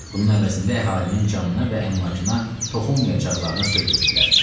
Bunun əvəzində əhalinin canına və əmlakına toxunmayacaqlarına söz verdilər.